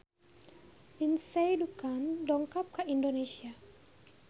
Lindsay Ducan dongkap ka Indonesia